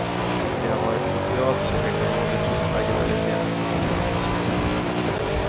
De har varit socialt och ekonomiskt marginaliserade.